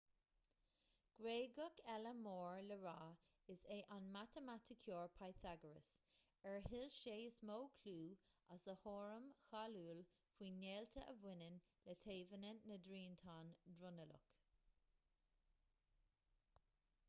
gréagach eile mór le rá is é an matamaiticeoir pythagoras ar thuill sé is mó clú as a theoirim cháiliúil faoin ngaolta a bhaineann le taobhanna na dtriantán dronuilleach